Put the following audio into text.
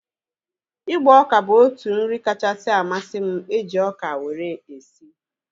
Ịgba oka bụ otu nri kachasị amasị m eji ọka wee sie